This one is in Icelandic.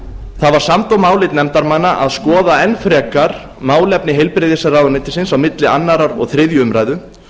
það var samdóma álit nefndarmanna að skoða enn frekar málefni heilbrigðisráðuneytisins á milli annars og þriðju umræðu